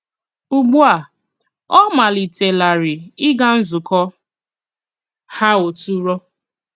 Ùgbu a ọ̀ malìtèlárì ịgà nzùkọ ha òtùrò.